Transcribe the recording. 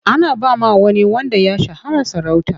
Ana ba wa wani wanda ya shahara sarauta.